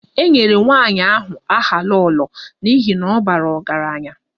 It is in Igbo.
E nyere nwanyị ahụ aha 'Lolo' n'ihi na ọ bara ọgaranya